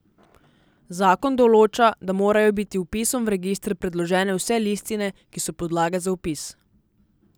Zakon določa, da morajo biti vpisom v register predložene vse listine, ki so podlaga za vpis.